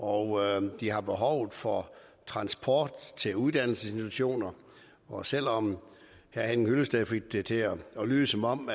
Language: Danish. og de har et behov for transport til uddannelsesinstitutioner og selv om herre henning hyllested fik det til at lyde som om